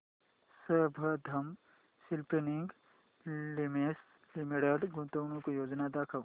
Sambandam spinning mills limited गुंतवणूक योजना दाखव